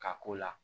Ka k'o la